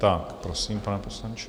Tak, prosím, pane poslanče.